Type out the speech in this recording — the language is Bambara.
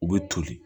U bɛ toli